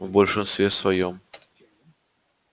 в большинстве своём конечно